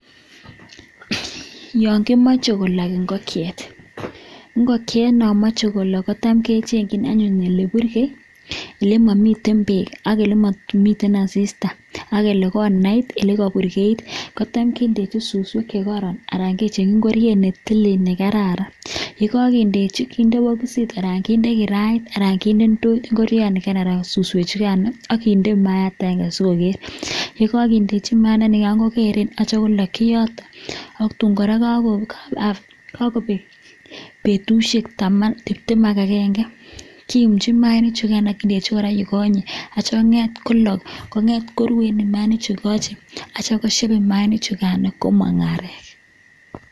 Yaan kimachee kolak ingokieet kechengeee olimamii asistaa kichengee ole purgeee olemamiten peeek kotam kindai susweeeek ak kindeee ngungunyek che lalang ki ndechii mayat akenge petushek cheuu tipteem kerach maiik akekachii kosheeep sikokeeny komaak areek